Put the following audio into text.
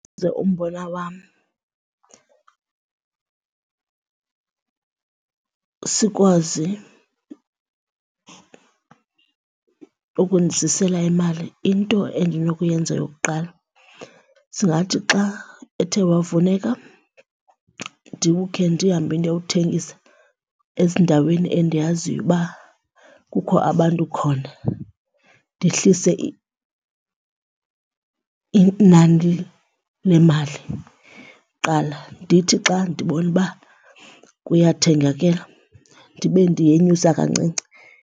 umbona wam sikwazi ukundizisela imali, into endinokuyenza yokuqala singathi xa ethe wavuneka ndiwukhe ndihambe ndiyowuthengisa ezindaweni endiyaziyo uba kukho abantu khona ndehlise inani lemali kuqala. Ndithi xa ndibona uba kuyathengakela ndibe ndiyenyusa kancinci.